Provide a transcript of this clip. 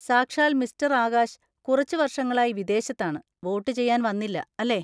സാക്ഷാൽ മിസ്റ്റർ ആകാശ് കുറച്ച് വർഷങ്ങളായി വിദേശത്താണ്, വോട്ട് ചെയ്യാൻ വന്നില്ല, അല്ലേ?